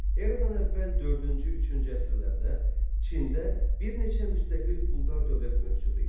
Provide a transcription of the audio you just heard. Eradan əvvəl dördüncü, üçüncü əsrlərdə Çində bir neçə müstəqil quldar dövlət mövcud idi.